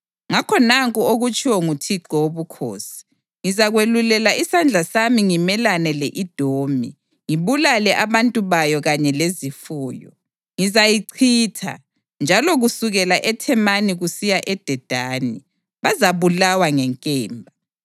ngakho nanku okutshiwo nguThixo Wobukhosi: Ngizakwelula isandla sami ngimelane le-Edomi ngibulale abantu bayo kanye lezifuyo. Ngizayichitha, njalo kusukela eThemani kusiya eDedani, bazabulawa ngenkemba.